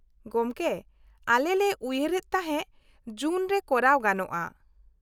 -ᱜᱚᱢᱠᱮ, ᱟᱞᱮ ᱞᱮ ᱩᱭᱦᱟᱹᱨ ᱮᱫ ᱛᱟᱦᱮᱸ ᱡᱩᱱ ᱨᱮ ᱠᱚᱨᱟᱣ ᱜᱟᱱᱚᱜᱼᱟ ?